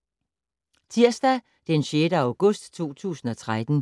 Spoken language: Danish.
Tirsdag d. 6. august 2013